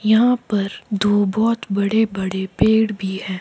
यहां पर दो बहोत बड़े बड़े पेड़ भी है।